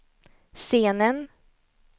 scenen